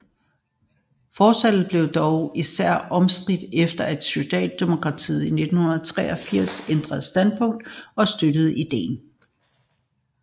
Forslaget blev dog især omstridt efter at Socialdemokratiet i 1983 ændrede standpunkt og støttede ideen